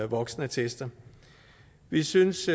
voksenattester vi synes